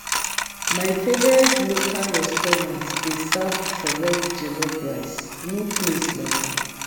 My favorite local restaurant dey serve correct jollof rice; no place like am.